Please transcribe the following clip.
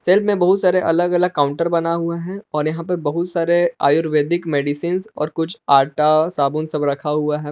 में बहुत सारे अलग अलग काउंटर बना हुआ है और यहा पर बहुत सारे आयुर्वैदिक मेडिसिंस और कुछ आटा साबुन सब रखा हुआ है।